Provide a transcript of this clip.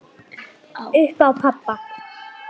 Upp á pabba.